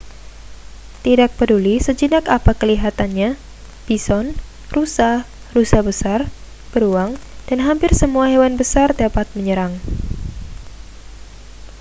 tidak peduli sejinak apa kelihatannya bison rusa rusa besar beruang dan hampir semua hewan besar dapat menyerang